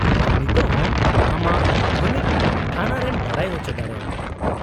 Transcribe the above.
-ᱟᱢ ᱱᱤᱛᱳᱜ ᱦᱚᱸ ᱟᱢᱟᱜ ᱛᱷᱟᱹᱱᱤᱛ ᱛᱷᱟᱱᱟ ᱨᱮᱢ ᱵᱟᱰᱟᱭ ᱚᱪᱚ ᱫᱟᱲᱮᱭᱟᱠᱚᱣᱟ ᱾